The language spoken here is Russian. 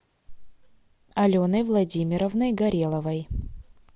аленой владимировной гореловой